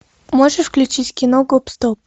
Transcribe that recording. можешь включить кино гоп стоп